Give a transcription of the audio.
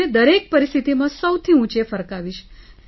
તેને દરેક પરિસ્થિતિમાં સૌથી વધુ ઊંચે ફરકાવીશ